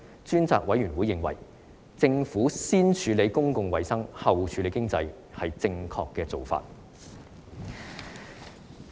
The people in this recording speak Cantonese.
專責委員會認為，政府先處理公共衞生，後處理經濟，是正確的做法。